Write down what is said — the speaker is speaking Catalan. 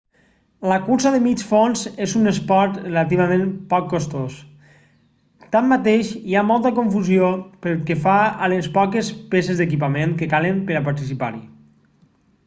la cursa de mig fons és un esport relativament poc costós tanmateix hi ha molta confusió pel que fa a les poques peces d'equipament que calen per a participar-hi